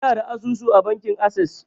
Ina da asusu a bankin assas